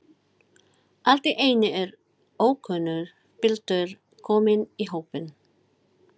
Allt í einu er ókunnur piltur kominn í hópinn.